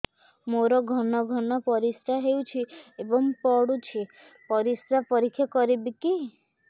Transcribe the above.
ମୋର ଘନ ଘନ ପରିସ୍ରା ହେଉଛି ଏବଂ ପଡ଼ୁଛି ପରିସ୍ରା ପରୀକ୍ଷା କରିବିକି